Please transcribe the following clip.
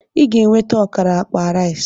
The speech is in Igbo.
Ị ga-eweta ọkara akpa rice!